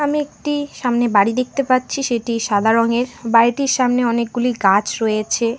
আমি একটি সামনে বাড়ি দেখতে পাচ্ছি সেটি সাদা রঙের বাড়িটির সামনে অনেকগুলি গাছ রয়েছে।